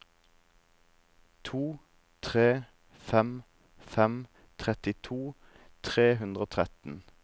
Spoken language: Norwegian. to tre fem fem trettito tre hundre og tretten